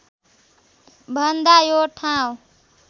भन्दा यो ठाउँ